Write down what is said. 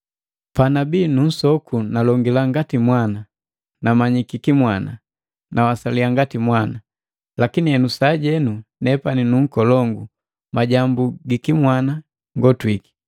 Panabii nunsoku nalongila ngati mwana, namanyiki kimwana, nawasaliya ngati mwana. Lakini henu, sajenu nepani nu nkolongu majambu gikimwana ngotwiki.